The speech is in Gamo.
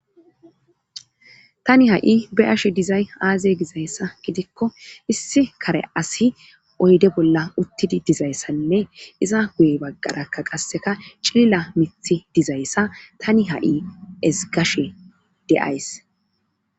Tani ha7i be ashe dizay aaze gizayssa gidikko issi kare asi oyde bolla uttidi dizayssanne iza guye baggarakka qasseka cilila mithi dizayssa tani ha7i esgashe deays